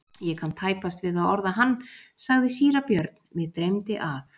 Ég kann tæpast við að orða hann, sagði síra Björn,-mig dreymdi að.